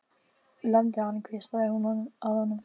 Lemdu hann hvíslaði hún að honum.